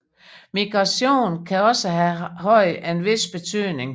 Migration kan også have haft en vis betydning